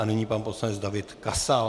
A nyní pan poslanec David Kasal.